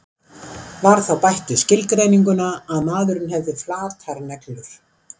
Var þá bætt við skilgreininguna að maðurinn hefði flatar neglur.